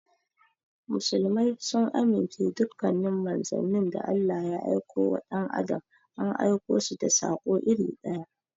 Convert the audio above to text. Muslmai sun amince dukkanin manzannin da Allah ya aikowa dan adam an aikosu da sako iri ɗaya.